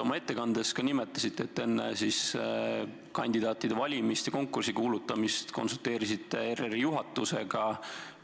Oma ettekandes te nimetasite, et enne kandidaatide valimise konkursi kuulutamist konsulteerisite ERR-i juhatusega